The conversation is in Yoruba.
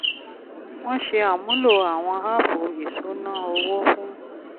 wọ́n ṣe àmúlò àwọn áàpù ìṣúná owó fún